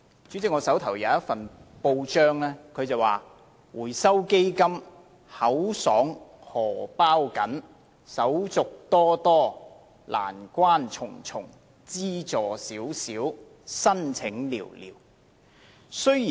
主席，我手上有一份報章報道，內容是"回收基金口爽荷包緊，手續多多，難關重重，資助少少，申請寥寥"。